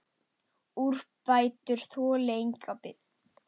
Úrbætur þoli enga bið.